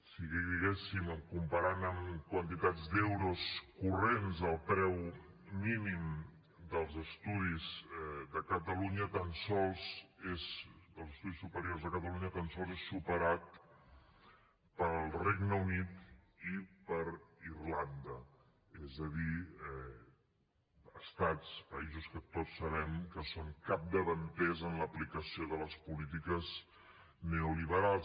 si li diguéssim comparant amb quantitats d’euros corrents el preu mínim dels estudis superiors a catalunya tan sols és superat pel regne unit i per irlanda és a dir estats països que tots sabem que són capdavanters en l’aplicació de les polítiques neoliberals